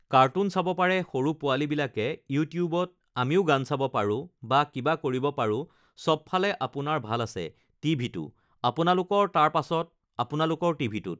cartoon চাব পাৰে সৰু পোৱালীবিলাকে ইউটিবত, আমিও গান চাব পাৰোঁ বা কিবা কৰিব পাৰোঁ, চবফালে আপোনাৰ ভাল আছে টিভিটো আপোনালোকৰ তাৰ পাছত আপোনালোকৰ টিভিটোত